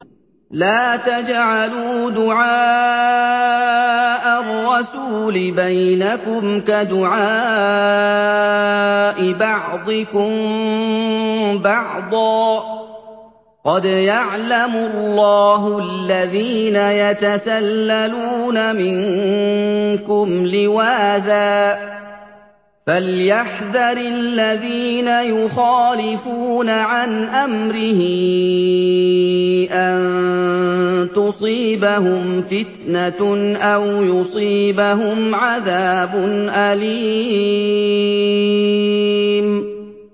لَّا تَجْعَلُوا دُعَاءَ الرَّسُولِ بَيْنَكُمْ كَدُعَاءِ بَعْضِكُم بَعْضًا ۚ قَدْ يَعْلَمُ اللَّهُ الَّذِينَ يَتَسَلَّلُونَ مِنكُمْ لِوَاذًا ۚ فَلْيَحْذَرِ الَّذِينَ يُخَالِفُونَ عَنْ أَمْرِهِ أَن تُصِيبَهُمْ فِتْنَةٌ أَوْ يُصِيبَهُمْ عَذَابٌ أَلِيمٌ